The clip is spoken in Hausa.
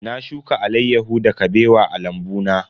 Na shuka alaiyahu da Kabewa a lambu na.